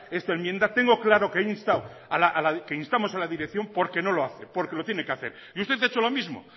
esta enmienda tengo claro que he instado que instamos a la dirección porque no lo hace porque lo tiene que hacer y usted ha hecho lo mismo